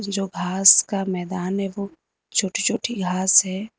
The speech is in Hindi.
जो घास का मैदान है वो छोटी छोटी घास है।